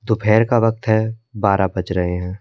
दोपहर का वक्त है बारह बज रहे हैं।